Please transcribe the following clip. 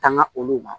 Tanga olu ma